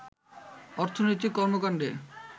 অর্থনৈতিক কর্মকণ্ডে